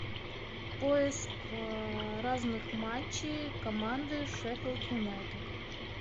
поиск разных матчей команды шеффилд юнайтед